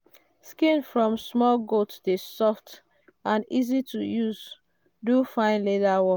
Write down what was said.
skin from small goat dey soft and easy to use do fine leather work.